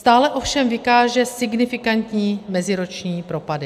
Stále ovšem vykáže signifikantní meziroční propady.